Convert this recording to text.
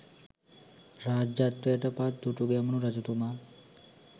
රාජ්‍යත්වයට පත් දුටුගැමුණු රජතුමා